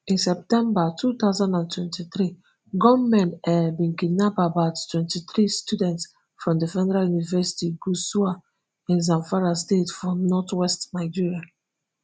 in september two thousand and twenty-three gunmen um bin kidnap about twenty-three students from di federal university gusau in zamfara state for northwest nigeria